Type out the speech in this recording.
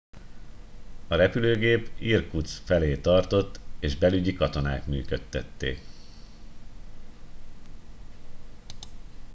a repülőgép irkutszk felé tartott és belügyi katonák működtették